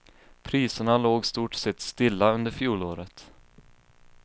Priserna låg stort sett stilla under fjolåret.